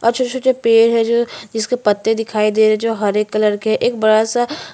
और छोटे-छोटे पेड़ है जो जिसके पत्ते दिखाई दे रहे है जो है कलर के है एक बड़ा-सा--